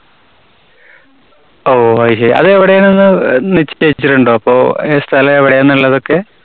ഓ അതുശരി. അതെവിടെയാണെന്ന് അഹ് നിശ്ചയിച്ചിട്ടുണ്ടോ? അപ്പോ അതിന്റെ സ്ഥലം എവിടെ ആന്നുള്ളതൊക്കെ?